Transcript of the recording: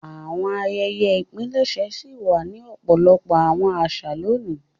Àwọn àyẹ́yẹ́ ìpilẹṣẹ ṣi wà ni ọpọlọpọ àwọn àṣà loni.